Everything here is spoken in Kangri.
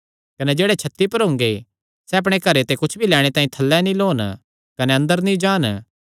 कने जेह्ड़े छत्ती पर हुंगे सैह़ अपणे घरे ते कुच्छ भी लैणे तांई थल्लै नीं लौन कने अंदर नीं जान